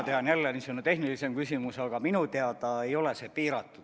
See on jälle niisugune tehnilisemat laadi küsimus, aga minu teada ei ole see piiratud.